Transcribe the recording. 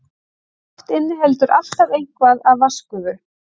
Loft inniheldur alltaf eitthvað af vatnsgufu.